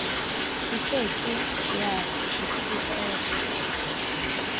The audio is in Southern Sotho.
e ke ke ya itshetlela